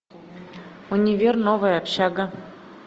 универ новая общага